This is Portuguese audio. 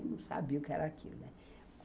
Eu não sabia o que era aquilo, né.